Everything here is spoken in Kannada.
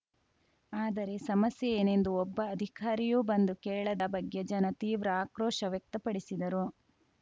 ಆದರೆ ಸಮಸ್ಯೆ ಏನೆಂದು ಒಬ್ಬ ಅಧಿಕಾರಿಯೂ ಬಂದು ಕೇಳದ ಬಗ್ಗೆ ಜನ ತೀವ್ರ ಆಕ್ರೋಶ ವ್ಯಕ್ತಪಡಿಸಿದರು